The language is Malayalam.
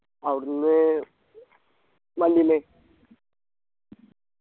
അവിടന്ന് വണ്ടീല്